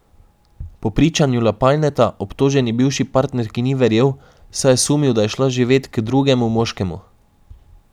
Po pričanju Lapajneta obtoženi bivši partnerki ni verjel, saj je sumil, da je šla živeti k drugemu moškemu.